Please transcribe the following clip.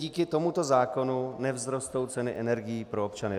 Díky tomuto zákonu nevzrostou ceny energií pro občany.